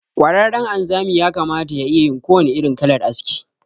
Ƙwararren anzami yakamata ya iyayin kowannen irin kalar aski.